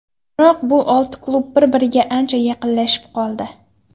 Biroq bu olti klub bir-biriga ancha yaqinlashib qoldi.